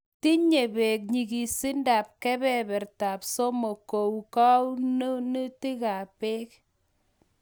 tinye peg nyigisindap kebeberta somok kou konunetap peg